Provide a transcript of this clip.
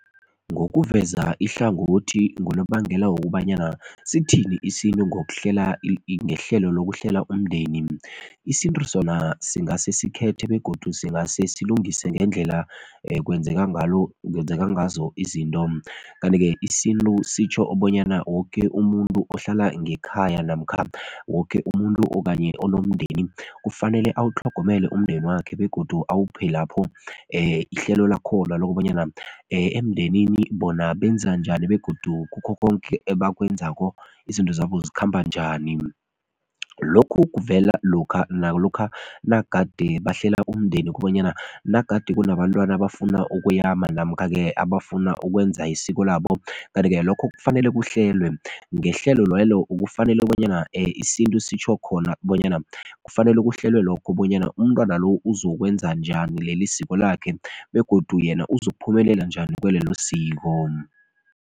Ngokuveza ihlangothi ngonobangela wokobanyana sithini isintu ngokuhlela ngehlelo lokuhlela umndeni? Isintu sona singase sikhethe begodu singase silungise ngendlela kwenzeka ngalo kwenzeka ngazo izinto. Kanti-ke isintu sitjho bonyana woke umuntu ohlala ngekhaya namkha woke umuntu okanye onomndeni kufanele awutlhogomele umndeni wakhe begodu awuphe lapho ihlelo lakhona lokobanyana emndenini bona benza njani begodu kukho konke ebakwenzako izinto zabo zikhamba njani, lokhu kuvela lokha nalokha nagade bahlela umndeni kobanyana nagade kunabantwana abafuna ukuyama namkha-ke abafuna ukwenza isiko labo kanti-ke lokho kufanele kuhlelwe ngehlelo lelo kufanele bonyana isintu sitjho khona bonyana kufanele kuhlelwe lokho bonyana umntwana lo ukuzokwenza njani leli siko lakhe begodu yena uzokuphumelela njani kwelelo siko.